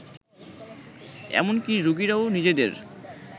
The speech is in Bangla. এমনকি রোগীরাও নিজেদের